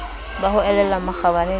ba ho elellwa makgabane le